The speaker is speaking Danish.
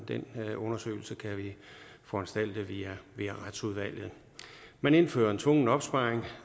men den undersøgelse kan vi foranstalte via retsudvalget man indfører en tvungen opsparing